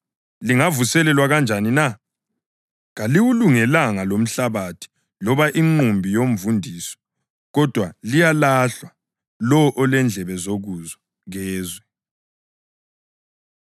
Kaliwulungelanga lomhlabathi loba inqumbi yomvundiso kodwa liyalahlwa. Lowo olendlebe zokuzwa, kezwe.”